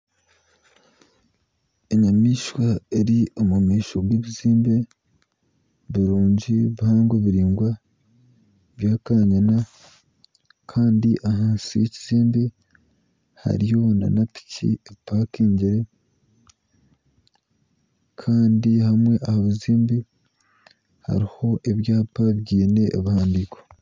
Enyamaishwa eri omu maisho g'ebizimbe birungi bihango biraingwa bya kanyina kandi ahansi yekizimbe hariyo nana piki epakingire kandi hamwe aha bizimbe hariho ebyapa biine ebihandiiko.